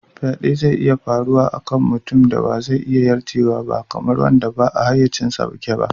Faɗe zai iya faruwa a kan mutumin da ba zai iya yarjewa ba, kamar wanda ba a hayyacinsa yake ba.